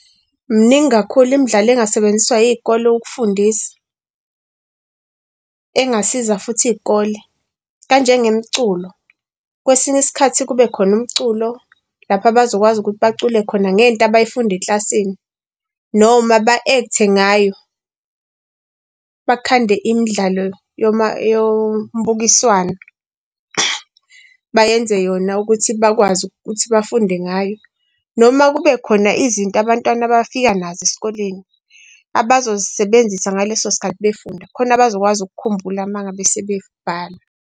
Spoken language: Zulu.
Mningi kakhulu imidlalo engasebenziswa iy'kole ukufundisa, engasiza futhi iy'kole, kanje ngemculo. Kwesinye isikhathi kube khona umculo lapho abazokwazi ukuthi bacule khona ngento abayifunde eklasini. Noma ba-act-e ngayo, bakhande imidlalo yombukiswano bayenze yona ukuthi bakwazi ukuthi bafunde ngayo. Noma kube khona izinto abantwana bafika nazo esikoleni, abazozisebenzisa ngaleso sikhathi befunda khona bazokwazi ukukhumbula uma ngabe sebebhala.